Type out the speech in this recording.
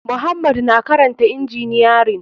Muhammad na karanta injiniyarin.